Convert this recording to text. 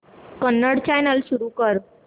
Kannada channel सुरू कर